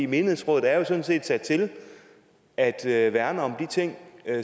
menighedsrådet er jo sådan set sat til at til at værne om de ting